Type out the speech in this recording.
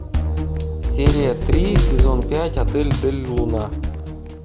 серия три сезон пять отель дель луна